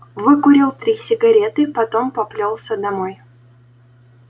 выкурил три сигареты потом поплёлся домой